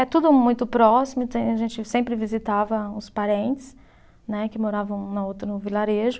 É tudo muito próximo, então a gente sempre visitava uns parentes, né, que moravam na outra, no vilarejo.